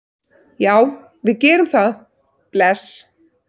Já, við gerum það. Bless.